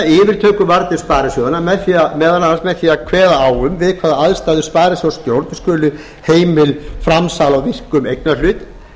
yfirtökuvarnir sparisjóðanna meðal annars með því að kveða á um það við hvaða aðstæður sparisjóðsstjórn skuli heimil framsal á virkum eignarhlut